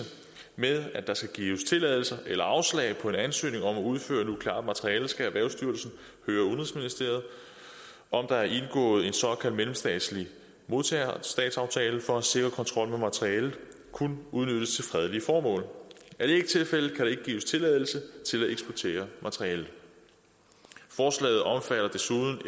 med at der skal gives tilladelse eller afslag på en ansøgning om at udføre nukleart materiale skal erhvervsstyrelsen høre udenrigsministeriet om der er indgået en såkaldt mellemstatslig modtagerstatsaftale for at sikre kontrol med at materialet kun udnyttes til fredelige formål er det ikke tilfældet kan der ikke gives tilladelse til at eksportere materialet forslaget omfatter desuden